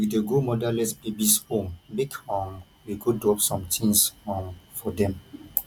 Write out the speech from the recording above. we dey go motherless babies home make um we go drop some tins um for dem